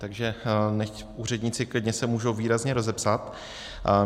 Takže nechť úředníci klidně se můžou výrazně rozepsat.